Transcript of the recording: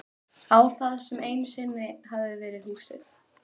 Á það sem einu sinni hafði verið húsið.